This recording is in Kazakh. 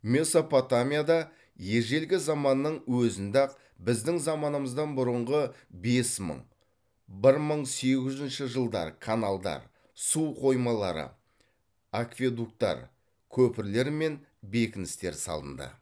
месопотамияда ежелгі заманның өзінде ақ біздің заманымыздан бұрынғы бес мың бір мың сегіз жүзінші жылдар каналдар су қоймалары акведуктар көпірлер мен бекіністер салынды